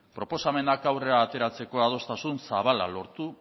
proposamenak aurrera ateratzeko adostasun zabala lortu